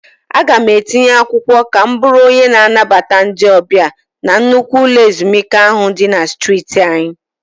Aga m etinye akwụkwọ ka m bụrụ onye na-anabata ndị ọbịa na nnukwu ụlọ ezumike ahụ dị na streeti anyị.